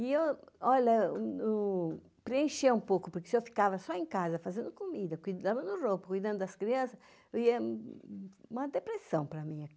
E eu, olha, preenchi um pouco, porque se eu ficava só em casa fazendo comida, cuidando do roupa, cuidando das crianças, ia... uma depressão para mim aqui.